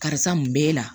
Karisa mun b'e la